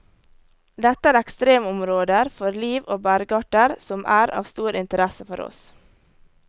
Dette er ekstremområder for liv og bergarter som er av stor interesse for oss.